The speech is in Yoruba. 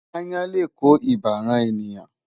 Aáyán lè kó ibà ran ènìyàn.